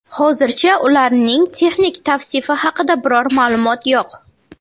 Hozircha ularning texnik tavsifi haqida biror ma’lumot yo‘q.